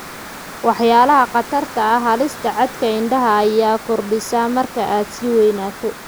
Waxyaalaha Khatarta ah Halista caadka indhaha ayaa kordhisa markaad sii weynaato.